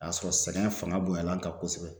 A y'a sɔrɔ sɛngɛ fanga bonyana an kan kosɛbɛ.